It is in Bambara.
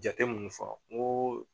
Jate mun fɔ n ko